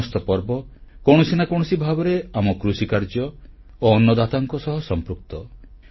ଏ ସମସ୍ତ ପର୍ବ କୌଣସି ନା କୌଣସି ଭାବରେ ଆମ କୃଷିକାର୍ଯ୍ୟ ଓ ଅନ୍ନଦାତାଙ୍କ ସହ ସମ୍ପୃକ୍ତ